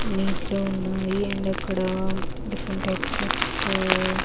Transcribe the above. neat లో ఉన్నాయి and ఇక్కడ డిఫరెంట్ టైప్స్ ఆఫ్ --